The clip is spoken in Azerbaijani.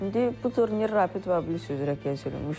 İndi bu turnir rapid və blitz üzrə keçirilmişdi.